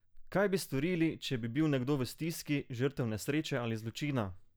Kaj bi storili, če bi bil nekdo v stiski, žrtev nesreče ali zločina?